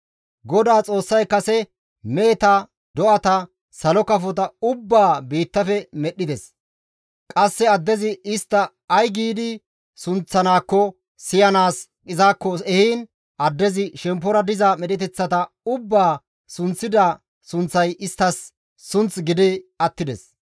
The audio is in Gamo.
GODAA Xoossay kase meheta do7ata salo kafota ubbaa biittafe medhdhides; qasse addezi istta ay giidi sunththanakko siyanaas izakko ehiin addezi shemppora diza medheteththata ubbaa sunththida sunththay isttas sunth gidi attides.